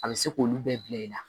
A bɛ se k'olu bɛɛ bila i la